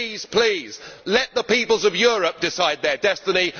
Please let the peoples of Europe decide their destiny.